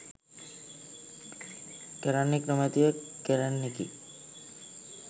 කරන්නෙක් නොමැතිව කෙරෙන්නකි.